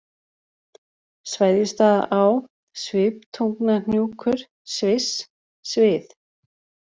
Sveðjustaðaá, Sviptungnahnjúkur, Sviss, Svið